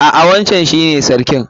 A'a wancan shi ne sarkin.